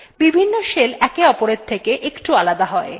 বিভিন্ন shells একে অপরের থেকে একটু আলাদা হয়